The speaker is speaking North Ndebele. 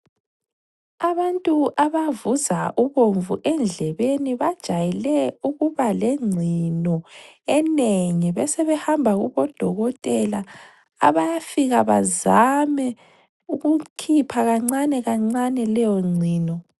Abantu abavuza ubomvu endlebeni bajayele ukuba lengcino enengi besebehamba kobo dokotela abafika bazame ukukhipha kancanekancane leyo ngcono.